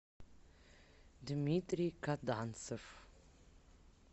дмитрий каданцев